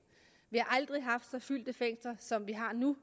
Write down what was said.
vi har aldrig haft så fyldte fængsler som vi har nu